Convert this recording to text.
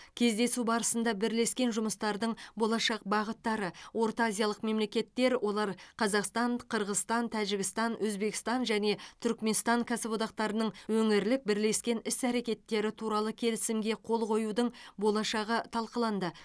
кездесу барысында бірлескен жұмыстардың болашақ бағыттары ортаазиялық мемлекеттер олар қазақстан қырғызстан тәжікстан өзбекстан және түркіменстан кәсіподақтарының өңірлік бірлескен іс әрекеттері туралы келісімге қол қоюдың болашағы талқыланды